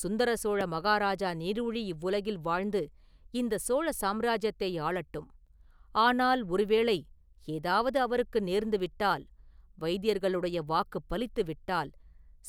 சுந்தர சோழ மகாராஜா நீடூழி இவ்வுலகில் வாழ்ந்து இந்தச் சோழ சாம்ராஜ்யத்தை ஆளட்டும்.ஆனால் ஒருவேளை ஏதாவது அவருக்கு நேர்ந்துவிட்டால், வைத்தியர்களுடைய வாக்குப் பலித்து விட்டால்,